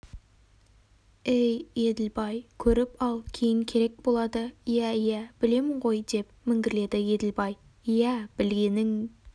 әй еділбай көріп ал кейін керек болады иә иә білемін ғой деп міңгірледі еділбай иә білгенің